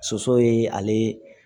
Soso ye ale